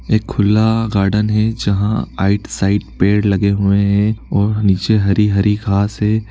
एक खुला गार्डन है जहा आइड साइड पेड़ लगे हुए है और नीचे हरी-हरी घास है।